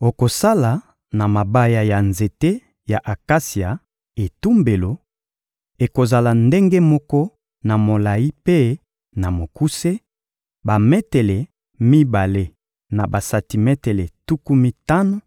Okosala na mabaya ya nzete ya akasia etumbelo: ekozala ndenge moko na molayi mpe na mokuse, bametele mibale na basantimetele tuku mitano;